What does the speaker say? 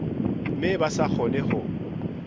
mme ba sa kgone ho